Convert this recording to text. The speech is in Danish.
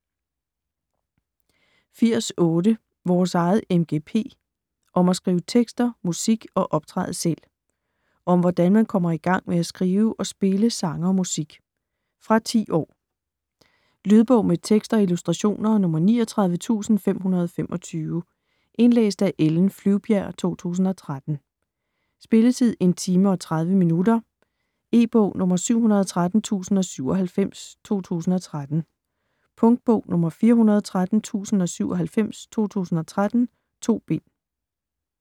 80.8 Vores eget MGP: om at skrive tekster, musik og optræde selv Om hvordan man kommer i gang med at skrive og spille sange og musik. Fra 10 år. Lydbog med tekst og illustrationer 39525 Indlæst af Ellen Flyvbjerg, 2013. Spilletid: 1 timer, 30 minutter. E-bog 713097 2013. Punktbog 413097 2013. 2 bind.